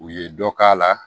U ye dɔ k'a la